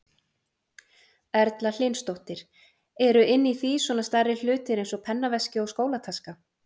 Erla Hlynsdóttir: Eru inni í því svona stærri hlutir eins og pennaveski og skólataska?